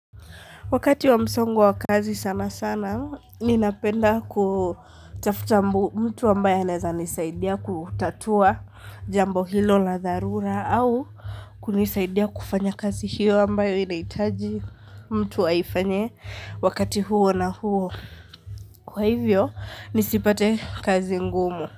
Wakati wa msongo wa kazi sana sana, ninapenda kutafuta mtu ambaye anaeza nisaidia kutatua jambo hilo la dharura au kunisaidia kufanya kazi hiyo ambayo inaitaji mtu aifanye wakati huo na huo. Kwa hivyo, nisipate kazi ngumu.